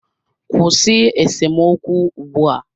Kwụsị esemokwu ugbu a!